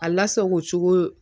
A lasago cogo